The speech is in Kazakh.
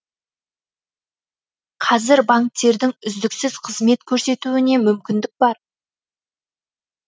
қазір банктердің үздіксіз қызмет көрсетуіне мүмкіндік бар